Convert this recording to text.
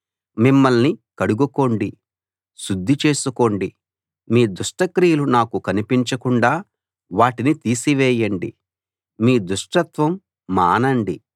మిమ్మల్ని కడుగుకోండి శుద్ధి చేసుకోండి మీ దుష్టక్రియలు నాకు కనిపించకుండా వాటిని తీసివేయండి మీ దుష్టత్వం మానండి